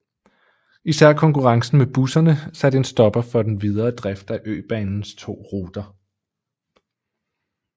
Især konkurrencen med busserne satte en stopper for den videre drift af øbanens to ruter